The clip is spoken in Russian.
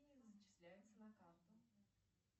зачисляется на карту